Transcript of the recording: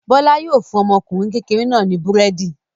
Bọ́lá yóò fún ọmọkùnrin kékeré náà ní búrẹ́dì.